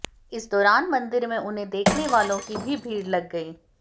इस दौरान मंदिर में उन्हें देखने वालों की भी भीड़ लग गई